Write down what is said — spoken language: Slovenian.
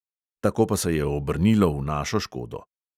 Tako pa se je obrnilo v našo škodo.